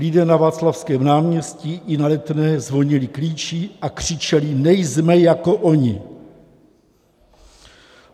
Lidé na Václavském náměstí i na Letné zvonili klíči a křičeli: nejsme jako oni!